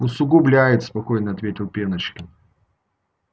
усугубляет спокойно ответил пеночкин